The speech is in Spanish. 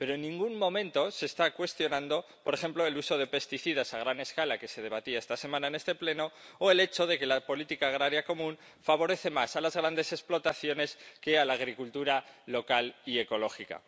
pero en ningún momento se está cuestionando, por ejemplo, el uso de pesticidas a gran escala que se debatía esta semana en este Pleno, o el hecho de que la política agrícola común favorece más a las grandes explotaciones que a la agricultura local y ecológica.